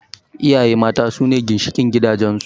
Iyaye mata sune ginshiƙin gidajen su